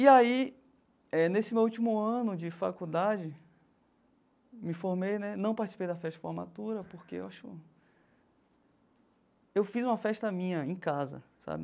E aí, eh nesse meu último ano de faculdade, me formei né, não participei da festa de formatura porque eu acho eu fiz uma festa minha em casa, sabe?